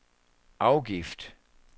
afgift